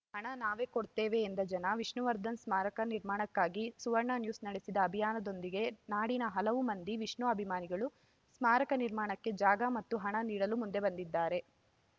ಹಣ ನಾವೇ ಕೊಡ್ತೇವೆ ಎಂದ ಜನ ವಿಷ್ಣುವರ್ಧನ್‌ ಸ್ಮಾರಕ ನಿರ್ಮಾಣಕ್ಕಾಗಿ ಸುವರ್ಣನ್ಯೂಸ್‌ ನಡೆಸಿದ ಅಭಿಯಾನದೊಂದಿಗೆ ನಾಡಿನ ಹಲವು ಮಂದಿ ವಿಷ್ಣು ಅಭಿಮಾನಿಗಳು ಸ್ಮಾರಕ ನಿರ್ಮಾಣಕ್ಕೆ ಜಾಗ ಮತ್ತು ಹಣ ನೀಡಲು ಮುಂದೆ ಬಂದಿದ್ದಾರೆ